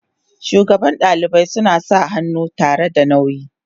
shugaban dalibai suna sa hannu tare da nauyi.